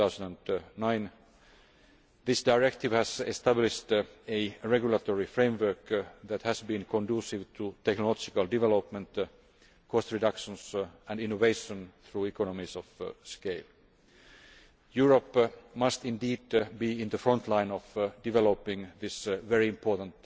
2009. This directive has established a regulatory framework that has been conducive to technological development, cost reductions and innovation through economies of scale. Europe must indeed be in the front line of developing this very important